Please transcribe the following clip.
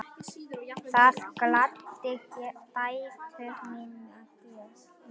Það gladdi dætur mínar mjög.